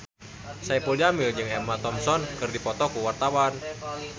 Saipul Jamil jeung Emma Thompson keur dipoto ku wartawan